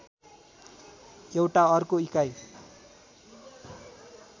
एउटा अर्को इकाइ